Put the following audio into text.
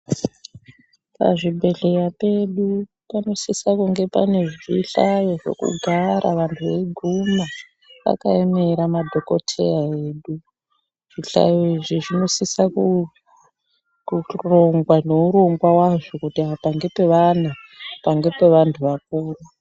Pazvibhedhleya pedu panosisa kunge pane zvihlayo zvekugara vanhu veiguma vakaemera madhokodheya edu , zvihlayo izvi zvinosisa kurongawa ngeurongwa wazvo kuti apa ngepe vana, apa ngepe vantu vakuru.